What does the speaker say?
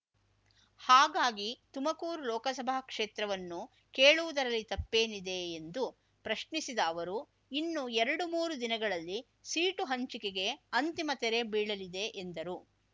ಹಾಗಾಗಿ ತುಮಕೂರು ಲೋಕಸಭಾ ಕ್ಷೇತ್ರವನ್ನು ಕೇಳುವುದರಲ್ಲಿ ತಪ್ಪೇನಿದೆ ಎಂದು ಪ್ರಶ್ನಿಸಿದ ಅವರು ಇನ್ನು ಎರಡು ಮೂರು ದಿನಗಳಲ್ಲಿ ಸೀಟು ಹಂಚಿಕೆಗೆ ಅಂತಿಮ ತೆರೆ ಬೀಳಲಿದೆ ಎಂದರು